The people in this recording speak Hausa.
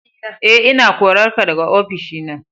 E, ina korarka daga ofishi na.